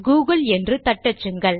Google என்று தட்டச்சுங்கள்